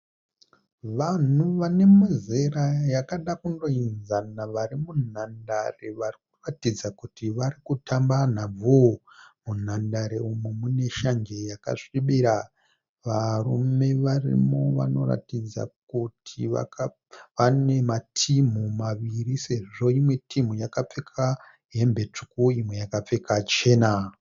Vanhu vano muzera yakada kungoenzana vari munhandare vari kuratidza kuti vari kutamba nhabvu. Munhandare umu mune shanje yakasvibira. Varume varimo vanoratidza kuti vane matimu maviri sezvo imwe timu yakapfeka hembe tsvuku imwe yakapfeka chena.